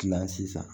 Kilan sisan